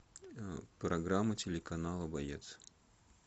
программа телеканала боец